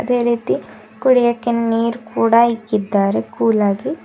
ಅದೇ ರೀತಿ ಕುಡಿಯಕ್ಕೆ ನೀರ್ ಕೂಡ ಇಕ್ಕಿದ್ದಾರೆ ಕೂಲಾಗಿ--